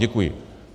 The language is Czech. Děkuji.